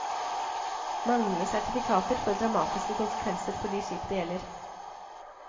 Manglende sertifikater får dramatiske konsekvenser for de skip det gjelder.